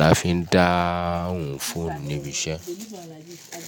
la fi ń dáhùn fóònù níbi iṣẹ́